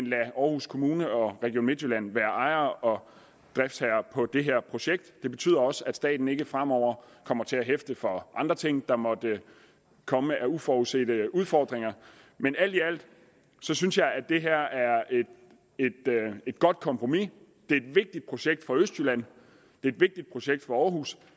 lader aarhus kommune og region midtjylland være ejere og driftsherrer på det her projekt det betyder også at staten ikke fremover kommer til at hæfte for andre ting der måtte komme af uforudsete udfordringer men alt i alt synes jeg at det her er et godt kompromis det er et vigtigt projekt for østjylland det er et vigtigt projekt for aarhus